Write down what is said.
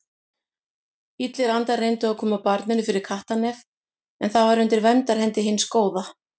Illir andar reyndu að koma barninu fyrir kattarnef en það var undir verndarhendi hins góða.